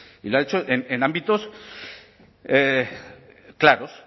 y lo ha hecho en ámbitos claros